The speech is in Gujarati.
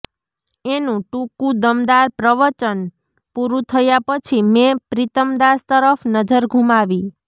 એનું ટૂંકું દમદાર પ્રવચન પૂરું થયા પછી મેં પ્રીતમદાસ તરફ નજર ઘૂમાવી